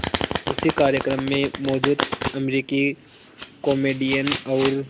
उसी कार्यक्रम में मौजूद अमरीकी कॉमेडियन और